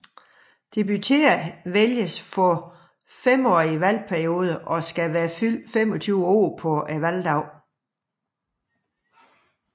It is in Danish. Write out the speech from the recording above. Deputerede vælges også for femårige valgperioder og skal være fyldt 25 år på valgdagen